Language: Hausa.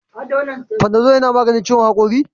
Panadol yana maganin ciwon hakori?